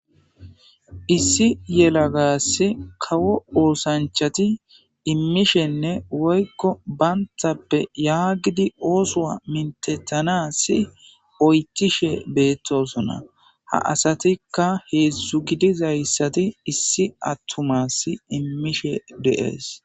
Issi yalagasi kawo ooththanchati imishenne woykko banttappe yagidi ooththo minththethanas oychishe betosona. Ha asatikka hezdzdu gidizayssati issi atumas imishe de'es.